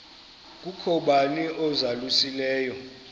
kukho bani uzalusileyo